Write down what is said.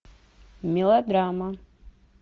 мелодрама